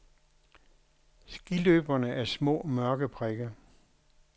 Skiløberne er små mørke prikker.